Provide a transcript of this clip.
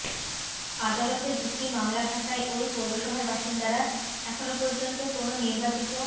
আদালতে দুটি মামলা থাকায় ওই পৌরসভার বাসিন্দারা এখন পর্যন্ত কোনো নির্বাচিত